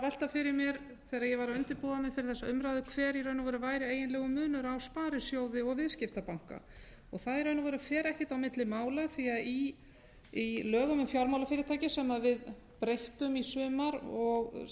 velta fyrir mér þegar ég var að undirbúa mig fyrir þessa umræðu hver í raun og veru væri eiginlega munur á sparisjóði og viðskiptabanka það er í raun og veru fer ekkert á milli mála því í lögum um fjármálafyrirtæki sem við breyttum í sumar og